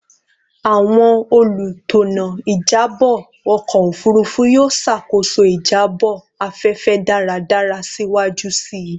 Awọn olutona ijabọ ọkọ ofurufu yoo ṣakoso ijabọ afẹfẹ daradara siwaju sii